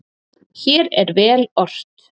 Hér er vel ort.